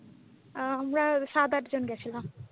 আমরা সাত আট জন গিয়েছিলাম ।